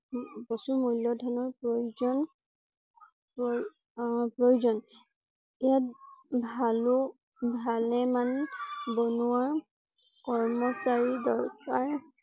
প্ৰচুৰ মূল্য ধনৰ প্ৰয়োজন প্ৰঅ প্ৰয়োজন ইয়াত ভালো ভালে মান বনুৱা কৰ্মচাৰী দৰকাৰ